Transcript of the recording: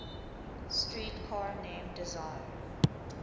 streetcar named desire